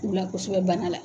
K' ula kosɛbɛ banna la.